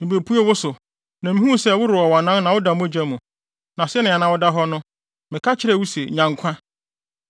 “ ‘Mibepuee wo so, na mihuu sɛ worewɔ wʼanan na woda mogya mu, na sɛnea na woda hɔ no, meka kyerɛɛ wo se, “Nya nkwa!”